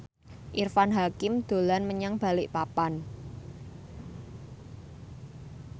Irfan Hakim dolan menyang Balikpapan